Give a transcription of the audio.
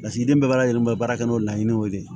Lasigiden bɛɛ b'a lajɛ baara kɛ n'o laɲiniw de